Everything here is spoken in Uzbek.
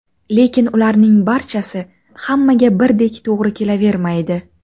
Lekin ularning barchasi hammaga birdek to‘g‘ri kelavermaydi.